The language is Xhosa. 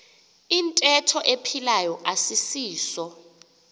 iyintetho ephilayo asisiso